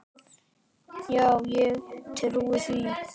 Já ég trúi því.